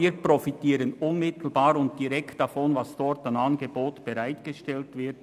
Wir profitieren somit unmittelbar und direkt von dem, was dort an Angeboten bereitgestellt wird.